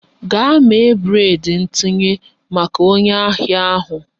Gaa mee breịd ntinye maka onye ahịa ahụ!